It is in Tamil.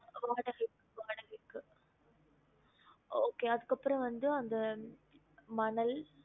வாடகை வாடகைக்கு okay அதுக்கு அப்புரம் வந்து அந்த மணல்